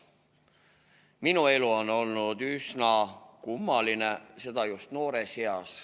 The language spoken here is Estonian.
Minu elu on olnud üsna kummaline, seda just noores eas.